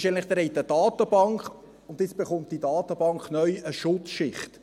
Sie haben eine Datenbank und jetzt bekommt diese Datenbank neu eine Schutzschicht.